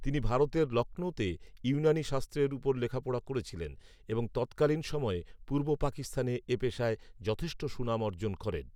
তিনি ভারতের লক্ষ্ণৌতে ইউনানী শাস্ত্রের উপর লেখাপড়া করেছিলেন এবং তত্‍কালীন সময়ে পুর্ব পাকিস্তানে এ পেশায় যথেষ্ট সুনাম অর্জন করেন